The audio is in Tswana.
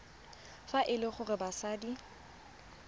fa e le gore batsadi